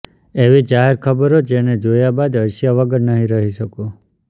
એવી જાહેરખબરો જેને જોયા બાદ હસ્યા વગર નહીં રહી શકો